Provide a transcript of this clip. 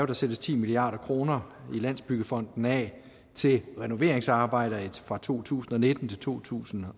der sættes ti milliard kroner i landsbyggefonden af til renoveringsarbejder fra to tusind og nitten til to tusind